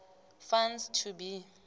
funds to be